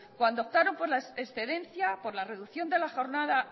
cuando optaron por la excedencia por la reducción de la jornada